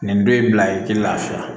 Nin don in bila ye i ti lafiya